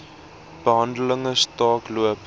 behandeling staak loop